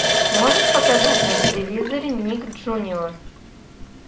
можешь показать на телевизоре ник джуниор